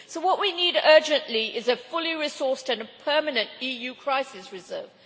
So what we need urgently is a fully resourced and a permanent EU crisis reserve.